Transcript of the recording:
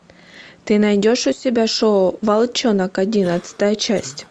ты найдешь у себя шоу волчонок одиннадцатая часть